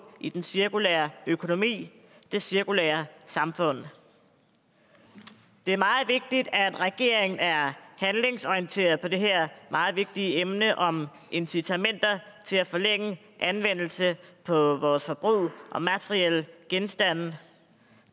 i den cirkulære økonomi det cirkulære samfund det er meget vigtigt at regeringen er handlingsorienteret i det her meget vigtige emne om incitamenter til at forlænge anvendelse af vores forbrug og materielle genstande